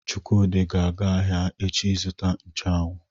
Chukwudi ga-aga ahia echi izuta nchu anwu.